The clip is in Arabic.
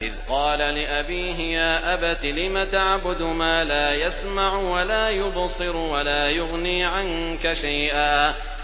إِذْ قَالَ لِأَبِيهِ يَا أَبَتِ لِمَ تَعْبُدُ مَا لَا يَسْمَعُ وَلَا يُبْصِرُ وَلَا يُغْنِي عَنكَ شَيْئًا